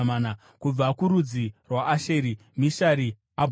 Kubva kurudzi rwaAsheri, Mishari, Abhudhoni,